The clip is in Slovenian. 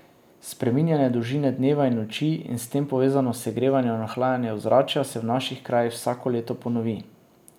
Spreminjanje dolžine dneva in noči in s tem povezano segrevanje in ohlajanje ozračja se v naših krajih vsako leto ponovi.